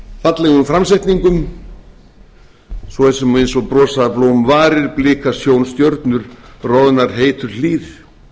skjóta fram fallegum framsetningum svo sem eins og brosa blómvarir blika sjónstjörnur roðnar heitur hlýr